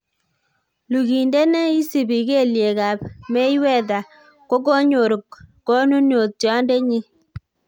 Lugindet ne isibi kelyekab Mayweather kogonyor konunotiondenyin.